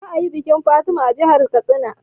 Za a yi bikin Fatima a jahar Katsina